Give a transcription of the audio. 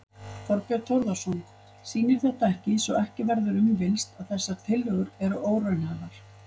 Þorbjörn Þórðarson: Sýnir þetta ekki, svo ekki verður um villst, að þessar tillögur eru óraunhæfar?